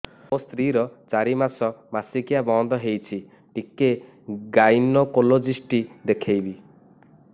ମୋ ସ୍ତ୍ରୀ ର ଚାରି ମାସ ମାସିକିଆ ବନ୍ଦ ହେଇଛି ଟିକେ ଗାଇନେକୋଲୋଜିଷ୍ଟ ଦେଖେଇବି